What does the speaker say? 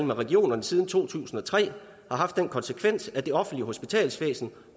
med regionerne siden to tusind og tre har haft den konsekvens at det offentlige hospitalsvæsen